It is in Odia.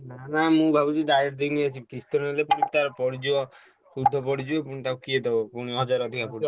ନା ନା ମୁଁ ଭାବୁଚି direct ଦେଇ ନେଇଯିବି କିସ୍ତି ରେ ନେଲେ ତାର ପୁଣି ପଡ଼ିଯିବ ସୁଦ୍ଧ ପଡ଼ିଯିବ ପୁଣି ତାକୁ କିଏ ଦେବ ପୁଣି ହଜାରେ ଅଧିକ ପଡ଼ିଯିବ,